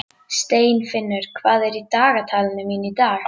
Steinfinnur, hvað er í dagatalinu mínu í dag?